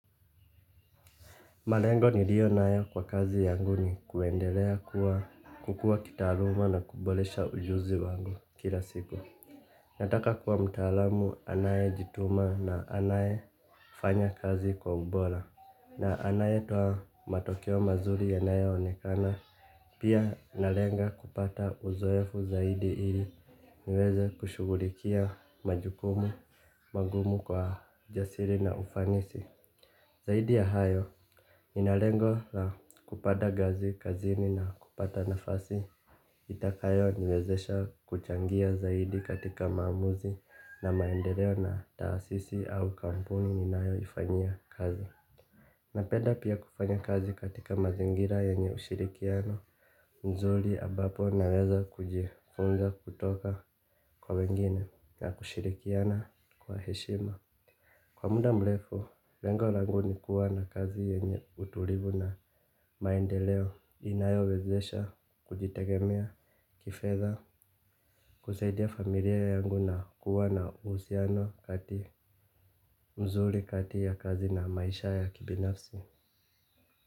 Malengo nilio nayo kwa kazi yangu ni kuendelea kuwa kukua kitaaluma na kubolesha ujuzi wangu kila siku. Nataka kuwa mtaalamu anayejituma na anaye fanya kazi kwa ubora. Na anaye toa matokeo mazuri yanayo onekana. Pia nalenga kupata uzoefu zaidi ili niweze kushugulikia majukumu, magumu kwa jasiri na ufanisi. Zaidi ya hayo, nina lengo la kupada gazi, kazini na kupata nafasi. Itakayo niwezesha kuchangia zaidi katika maamuzi na maendeleo na taasisi au kampuni ninayo ifanyia kazi. Napenda pia kufanya kazi katika mazingira yenye ushirikiano, nzuri ambapo naweza kujiunga kutoka kwa wengine na kushirikiana kwa heshima. Kwa muda mlefu, lengo langu ni kuwa na kazi yenye utulivu na maendeleo inayo wezesha kujitegemea kifedha, kusaidia familia yangu na kuwa na uhusiano kati mzuri kati ya kazi na maisha ya kibinafsi.